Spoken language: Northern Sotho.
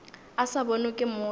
a sa bonwe ke motho